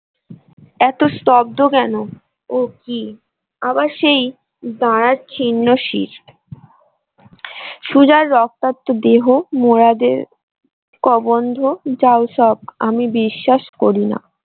এত স্তব্ধ কেন ও কি আবার সেই দাড়ার ছিন্ন শিড় সুজার রক্তাত দেহ মুরাদের কবন্ধ যাও সব আমি বিশ্বাস করিনা।